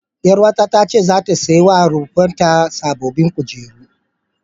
Ƴaruwata ta ce zata sai wa rumfar ta sababbin kujeru.